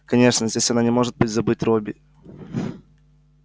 конечно здесь она не может забыть робби